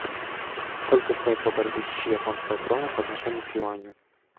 сколько стоит полторы тысячи японской кроны по отношению к юаню